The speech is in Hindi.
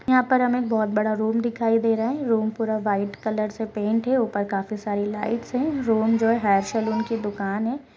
यहां पर हमे एक बहुत बड़ा रूम दिखाई दे रहा है रूम पूरा व्हाइट कलर से पेंट है ऊपर काफी सारी लाइट्स है रूम जो है हेयर सलून की दुकान है।